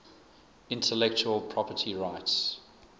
intellectual property rights